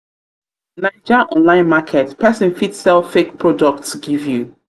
online market pesin fit sell fake products give you.